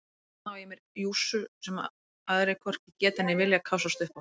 Þarna á ég mér jússu sem aðrir hvorki geta né vilja kássast upp á.